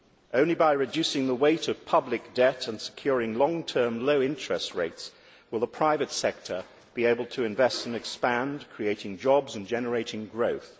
Only by reducing the weight of public debt and securing long term low interest rates will the private sector be able to invest and expand, creating jobs and generating growth.